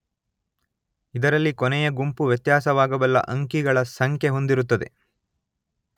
ಇದರಲ್ಲಿ ಕೊನೆಯ ಗುಂಪು ವ್ಯತ್ಯಾಸವಾಗಬಲ್ಲ ಅಂಕಿಗಳ ಸಂಖ್ಯೆ ಹೊಂದಿರುತ್ತದೆ.